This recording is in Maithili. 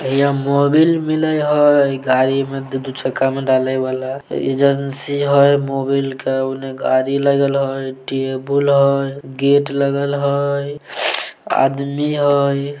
हियां मोबिल मिला हई गाड़ी में दू दू-चक्का में डाले वाला। एजेंसी हई मोबिल के ओने गाड़ी लगल हई टेबुल हई गेट लगल हई आदमी हई।